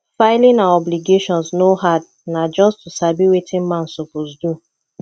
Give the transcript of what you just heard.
filing our obligations no hard na just to sabi wetin man suppose do